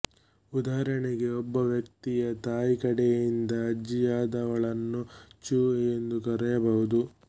ಉದಾಹರಣೆಗೆ ಒಬ್ಬ ವ್ಯಕ್ತಿಯ ತಾಯಿಕಡೆಯಿಂದ ಅಜ್ಜಿಯಾದವಳನ್ನು ಚು ಎಂದು ಕರೆಯಬಹುದು